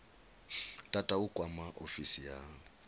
tata u kwama ofisi ya